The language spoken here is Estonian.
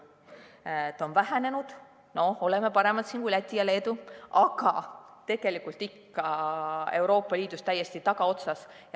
See vahe on vähenenud, me oleme siin paremad kui Läti ja Leedu, aga tegelikult ikka Euroopa Liidus täiesti tagaotsas.